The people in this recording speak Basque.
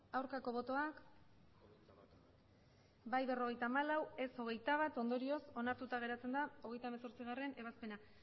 aurkako botoak emandako botoak hirurogeita hamabost bai berrogeita hamalau ez hogeita bat ondorioz onartuta geratzen da hogeita hemezortzigarrena ebazpena